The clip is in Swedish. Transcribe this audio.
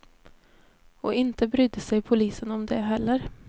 Och inte brydde sig polisen om det heller.